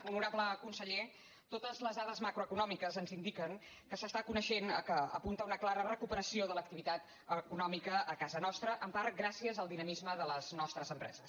honorable conseller totes les dades macroeconòmiques ens indiquen que s’està coneixent que apunta a una clara recuperació de l’activitat econòmica a casa nostra en part gràcies al dinamisme de les nostres empreses